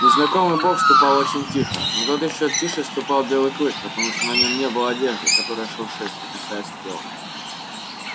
незнакомый бог ступал очень тихо но тот ещё тише ступал белый клык потому что на нём не было одежды которая шуршит прикасаясь к телу